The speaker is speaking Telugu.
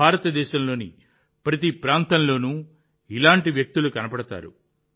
భారతదేశంలోని ప్రతి ప్రాంతంలోనూ ఇలాంటి వ్యక్తులు కనిపిస్తారు